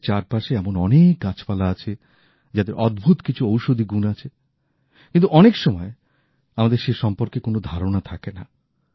আমাদের চারপাশে এমন অনেক গাছপালা আছে যাদের অদ্ভুত কিছু ঔষধি গুণ আছে কিন্তু অনেক সময় আমাদের সে সম্পর্কে কোন ধারণা থাকে না